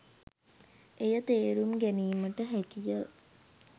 එය තේරුම් ගැනීමට හැකි ය.